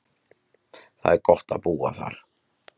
Það er gott að búa þar.